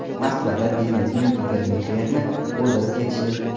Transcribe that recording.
Moskvada biznesmen Igor Meklerni o‘ldirib ketishdi.